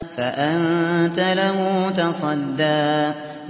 فَأَنتَ لَهُ تَصَدَّىٰ